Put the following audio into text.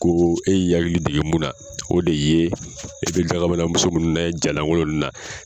Ko e y'i hakili dege mun na, o de ye e be dagabanamuso munnu ja lankolon nunnu na